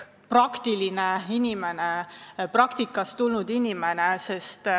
Ta on praktikast tulnud inimene.